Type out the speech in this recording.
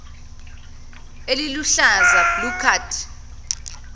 eliluhlaza blue card